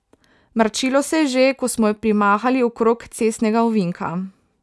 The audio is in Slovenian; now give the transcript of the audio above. Mračilo se je že, ko smo jo primahali okrog cestnega ovinka.